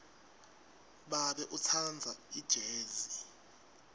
babe utsandza ijezi